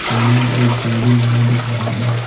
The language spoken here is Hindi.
सामने एक गाड़ी लगा दिख रहा है।